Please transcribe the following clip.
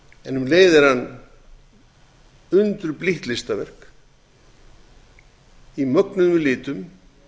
en um leið er hann undurblítt listaverk á mögnuðum litum